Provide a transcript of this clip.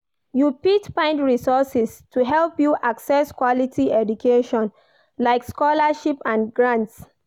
You fit find resources to help you access quality education, like scholarships and grants.